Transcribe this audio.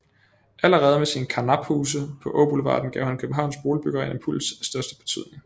Allerede med sine karnaphuse på Åboulevarden gav han københavnsk boligbyggeri en impuls af største betydning